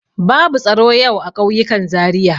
Babu tsaro yau a ƙauyukan Zariya.